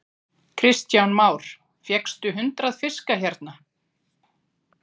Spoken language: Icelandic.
Kristján Már: Fékkstu hundrað fiska hérna?